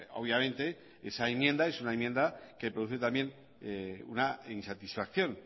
obviamente esa enmienda es una enmienda que produce también una insatisfacción